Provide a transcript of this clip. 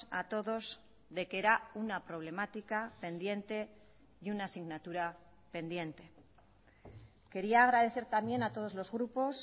a todos de que era una problemática pendiente y una asignatura pendiente quería agradecer también a todos los grupos